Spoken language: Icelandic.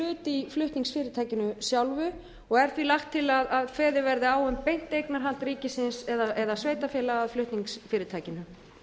hlut í flutningsfyrirtækinu sjálfu og er því lagt til að kveðið verði á um beint eignarhald ríkisins eða sveitarfélaga á flutningsfyrirtækinu